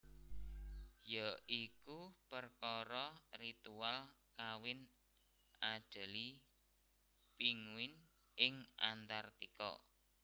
Ya iku perkara ritual kawin Adelie Penguins ing Antartika